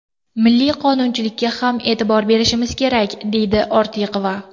Milliy qonunchilikka ham e’tibor berishimiz kerak”, deydi Ortiqova.